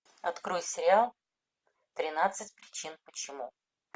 открой сериал тринадцать причин почему